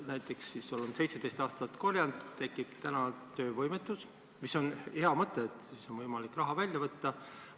Näiteks oled 17 aastat korjanud ja täna tekib töövõimetus – see on hea mõte, et nüüd on võimalik raha välja võtta.